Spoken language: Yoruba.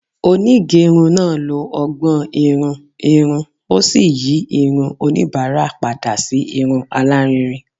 Onigerun naa lo ọgbọn-irun irun o si yi irun onibara pada si irun alarinrin